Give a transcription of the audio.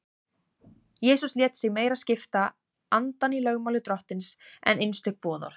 Jesús lét sig meira skipta andann í lögmáli Drottins en einstök boðorð.